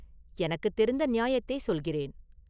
“எனக்குத் தெரிந்த நியாயத்தைச் சொல்கிறேன்.